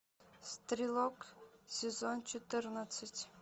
стрелок сезон четырнадцать